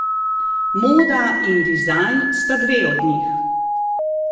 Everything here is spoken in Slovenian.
Moda in dizajn sta dve od njih.